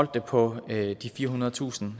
det på de firehundredetusind